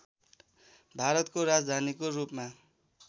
भारतको राजधानीको रूपमा